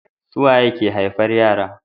Su waye ke haifar yara